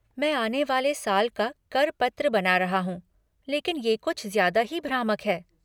मैं आने वाले साल का कर पत्र बना रहा हूँ लेकिन ये कुछ ज़्यादा ही भ्रामक है।